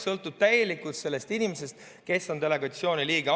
Sõltub täielikult sellest inimesest, kes on delegatsiooni liige.